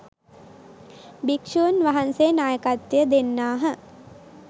භික්‍ෂුන් වහන්සේ නායකත්වය දෙන්නාහ